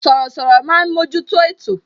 Sọ̀rọ̀sọ̀rọ̀ máa ń mojuto ètò